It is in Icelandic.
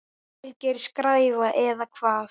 Alger skræfa eða hvað?